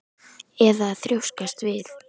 Fólkið lét tilleiðast að sýna þig.